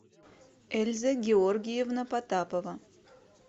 эльза георгиевна потапова